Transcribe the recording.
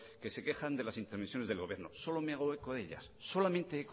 que se quejan de las intermisiones del gobierno solo me hago eco de ellas solamente